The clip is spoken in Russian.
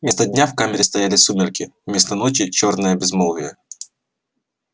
вместо дня в камере стояли сумерки вместо ночи чёрное безмолвие